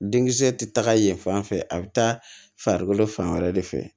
Denkisɛ tɛ taga yen fan fɛ a bɛ taa farikolo fan wɛrɛ de fɛ